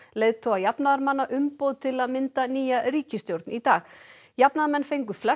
leiðtoga jafnaðarmanna umboð til að mynda nýja ríkisstjórn í dag jafnaðarmenn fengu flest